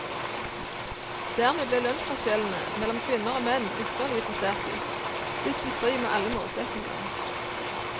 Dermed ble lønnsforskjellene mellom kvinner og menn ytterligere forsterket, stikk i strid med alle målsetninger.